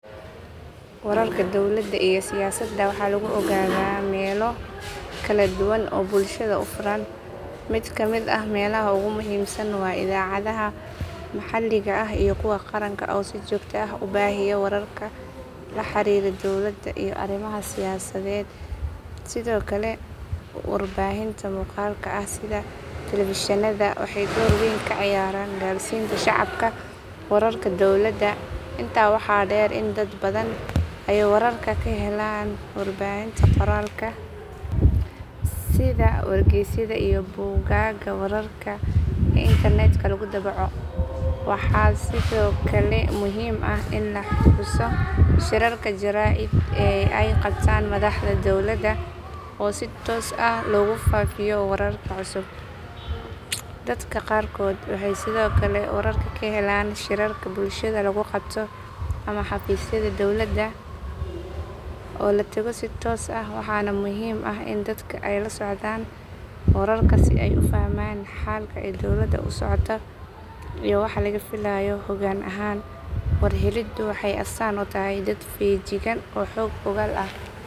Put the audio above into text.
Wararka dowladda iyo siyaasadda waxaa lagu ogaadaa meelo kala duwan oo bulshada u furan. Mid ka mid ah meelaha ugu muhiimsan waa idaacadaha maxalliga ah iyo kuwa qaranka oo si joogto ah u baahiya wararka la xiriira dowladda iyo arrimaha siyaasadeed. Sidoo kale warbaahinta muuqaalka ah sida telefishinnada waxay door weyn ka ciyaaraan gaarsiinta shacabka wararka dowladda. Intaa waxaa dheer in dad badan ay wararka ka helaan warbaahinta qoraalka ah sida wargaysyada iyo bogagga wararka ee internetka lagu daabaco. Waxaa sidoo kale muhiim ah in la xuso shirarka jaraa'id ee ay qabtaan madaxda dowladda oo si toos ah loogu faafiyo wararka cusub. Dadka qaarkood waxay sidoo kale wararka ka helaan shirarka bulshada lagu qabto ama xafiisyada dowladda oo la tago si toos ah. Waxaana muhiim ah in dadka ay la socdaan wararka si ay u fahmaan halka ay dowladda u socoto iyo waxa laga filayo hoggaan ahaan. War heliddu waxay astaan u tahay dad feejigan oo xog ogaal ah.